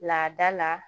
Laada la